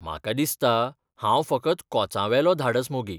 म्हाका दिसता हांव फकत कोचावेलो धाडस मोगी!